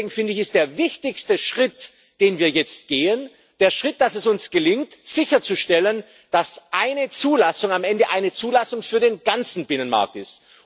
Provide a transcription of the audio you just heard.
Deswegen ist der wichtigste Schritt, den wir jetzt gehen, der Schritt, dass es uns gelingt sicherzustellen, dass eine Zulassung am Ende eine Zulassung für den ganzen Binnenmarkt ist.